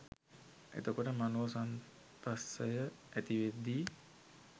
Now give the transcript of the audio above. එතකොට මනෝ සම්පස්සය ඇති වෙද්දී